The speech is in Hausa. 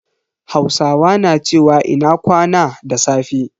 Hausawa na cewa "Ina kwana" da safe.